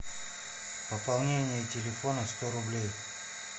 пополнение телефона сто рублей